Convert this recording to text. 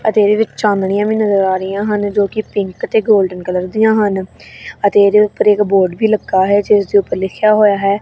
ਅਤੇ ਇਹਦੇ ਵਿੱਚ ਚਾਨਣੀਆਂ ਵੀ ਨਜ਼ਰ ਆ ਰਹੀਆਂ ਹਨ ਜੋ ਕਿ ਪਿੰਕ ਤੇ ਗੋਲਡਨ ਕਲਰ ਦੀਆਂ ਹਨ ਅਤੇ ਇਹਦੇ ਉੱਪਰ ਇੱਕ ਬੋਰਡ ਵੀ ਲੱਗਾ ਹੈ ਜਿਸ ਦੇ ਉੱਪਰ ਲਿਖਿਆ ਹੋਇਆ ਹੈ--